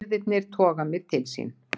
Firðirnir toga mig til sín.